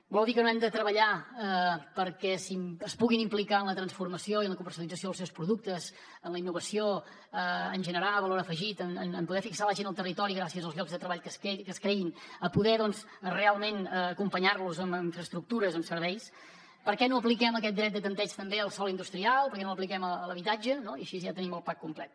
vol dir que no hem de treballar perquè es puguin implicar en la transformació i la comercialització dels seus productes en la innovació en generar valor afegit en poder fixar la gent al territori gràcies als llocs de treball que es creïn a poder doncs realment acompanyar los amb infraestructures amb serveis per què no apliquem aquest dret de tanteig també al sòl industrial per què no l’apliquem a l’habitatge no i així ja tenim el pack complet